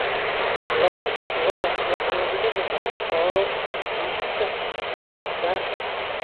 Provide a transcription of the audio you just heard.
Lo'da lo'da waxaa lagu dhaqi karaa xoolo naaxinta gaarka ah.